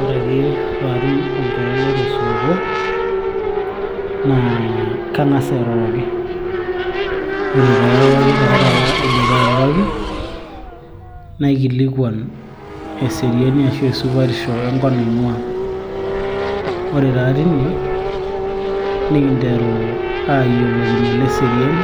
ore ake paatum olchore lai tosupuko naa kang'as airoroki, ore pairoroki taa taata aidipa airoroki naikilikuan eseriani ashu esupatisho enkop naing'ua ore taa tine nikinteru ayiolokino leseriani